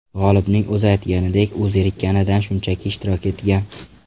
G‘olibning o‘zi aytganidek, u zerikkanidan, shunchaki ishtirok etgan.